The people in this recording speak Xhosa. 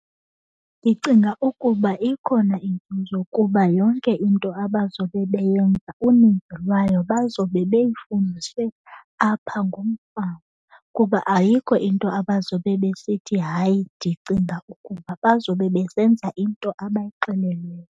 Ndicinga ukuba ikhona inzuzo kuba yonke into abazobe beyenza uninzi lwayo bazobe beyifundiswe apha ngumfama. Kuba ayikho into abazobe besithi hayi ndicinga ukuba, bazobe besenza into abayixelelweyo.